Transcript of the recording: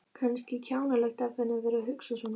Kannski kjánalegt af henni að vera að hugsa svona.